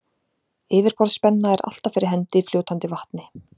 Yfirborðsspenna er alltaf fyrir hendi í fljótandi vatni.